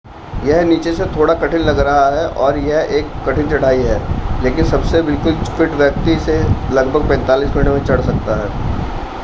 यह नीचे से थोड़ा कठिन लग रहा है और यह एक कठिन चढ़ाई है लेकिन सबसे बिल्कुल फ़िट व्यक्ति इसे लगभग 45 मिनट में चड़ सकता है